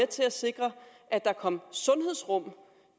til at sikre at der kom sundhedsrum